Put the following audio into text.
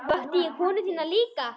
Vakti ég konu þína líka?